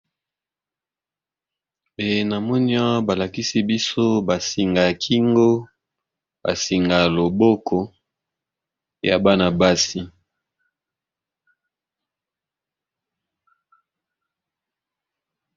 E na moni awa balakisi biso ba singa ya kingo ba singa ya loboko ya bana-basi.